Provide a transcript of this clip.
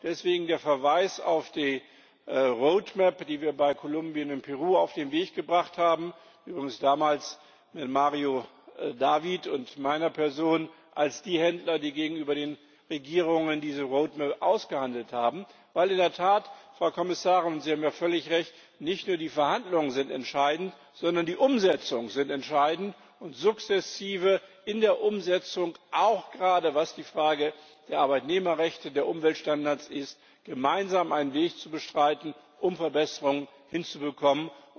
Deswegen der Verweis auf die Roadmap die wir bei Kolumbien und Peru auf den Weg gebracht haben übrigens mit Mário David und meiner Person als den Händlern, die gegenüber den Regierungen diese Roadmap ausgehandelt haben, denn in der Tat, Frau Kommissarin Sie haben hier völlig Recht nicht nur die Verhandlungen sind entscheidend, sondern die Umsetzungen sind entscheidend und sukzessive in der Umsetzung, auch gerade was die Frage der Arbeitnehmerrechte, der Umweltstandards anbelangt, gemeinsam einen Weg zu beschreiten, um Verbesserungen hinzubekommen.